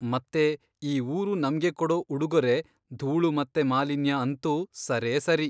ಮತ್ತೆ ಈ ಊರು ನಮ್ಗೆ ಕೊಡೊ ಉಡುಗೊರೆ ಧೂಳು ಮತ್ತೆ ಮಾಲಿನ್ಯ ಅಂತೂ ಸರೇಸರಿ.